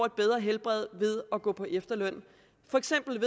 et bedre helbred ved at gå på efterløn for eksempel